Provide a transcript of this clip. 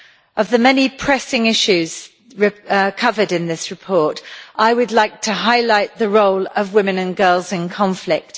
Of the many pressing issues covered in this report, I would like to highlight the role of women and girls in conflict.